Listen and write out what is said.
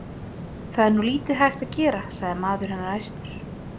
Það er nú lítið hægt að gera, sagði maður hennar æstur.